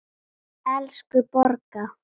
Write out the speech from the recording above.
Elsku Borga!